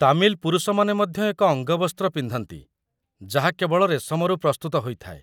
ତାମିଲ ପୁରୁଷମାନେ ମଧ୍ୟ ଏକ ଅଙ୍ଗବସ୍ତ୍ର ପିନ୍ଧନ୍ତି, ଯାହା କେବଳ ରେଶମରୁ ପ୍ରସ୍ତୁତ ହୋଇଥାଏ